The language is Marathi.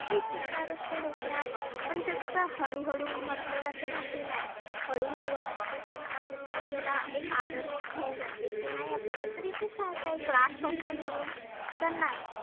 हेच विचार असते डोक्यात. पण ते कसं हळू हळु म्हटलं जातं की नाही हळु हळु जसं जशी आपल्याला एक आदत होऊन जाते. की नाही आपल्याला तर इथेच रहायचं last option म्हणुन. तर नाही